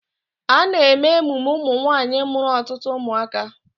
A na-eme emume ụmụnwaanyị mụrụ ọtụtụ ụmụaka.